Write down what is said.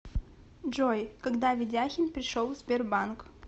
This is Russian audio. джой когда ведяхин пришел в сбербанк